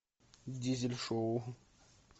дизель шоу